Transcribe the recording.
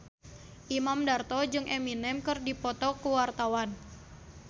Imam Darto jeung Eminem keur dipoto ku wartawan